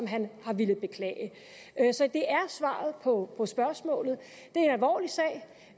han har villet beklage så det er svaret på spørgsmålet det